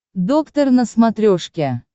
доктор на смотрешке